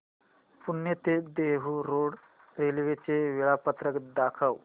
पुणे ते Dehu road railway चे वेळापत्रक दाखव